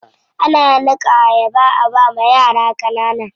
Ana niƙa ayaba a bawa yara ƙanana.